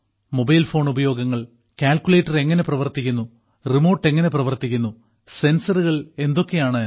mobile phone ഉപയോഗങ്ങൾ calculator എങ്ങനെ പ്രവർത്തിക്കുന്നു റിമോട്ട് എങ്ങനെ പ്രവർത്തിക്കുന്നു സെൻസറുകൾ എന്തൊക്കെയാണ് എന്ന്